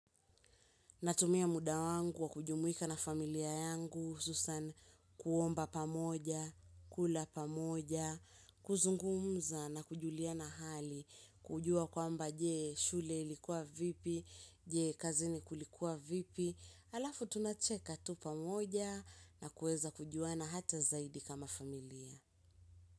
Natumia muda wangu wa kujumuika na familia yangu, hususan kuomba pamoja, kula pamoja, kuzungumza na kujuliana hali, kujua kwamba je shule likua vipi, je kazini kulikuwa vipi, halafu tunacheka tu pamoja na kuweza kujua na hata zaidi kama familia.